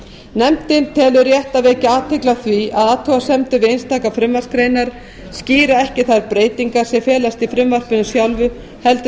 nefndin telur rétt að vekja athygli á því að athugasemdir við einstakar frumvarpsgreinar skýra ekki þær breytingar sem felast í frumvarpinu sjálfu heldur